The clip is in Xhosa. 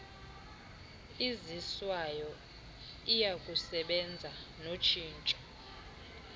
iziswayo iyakusebenza notshintsho